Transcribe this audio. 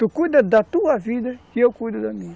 Tu cuida da tua vida e eu cuido da minha.